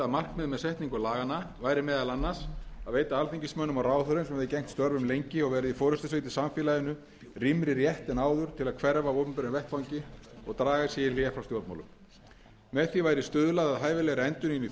markmið með setningu laganna væri meðal annars að veita alþingismönnum og ráðherrum sem hefðu gegnt störfum lengi og verið í forustusveit í samfélaginu rýmri rétt en áður til að hverfa af opinberum vettvangi og draga sig í hlé frá stjórnmálum með því væri stuðlað að hæfilegri endurnýjun í